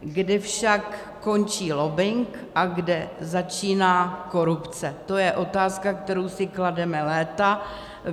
Kde však končí lobbing a kde začíná korupce, to je otázka, kterou si klademe léta.